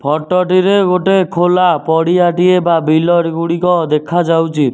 Photo ଟିରେ ଗୋଟେ ଖୋଲା ପଡ଼ିଆ ଟିଏ ବା ବିଲ ର ଗୁଡ଼ିକ ଦେଖାଯାଉଚି।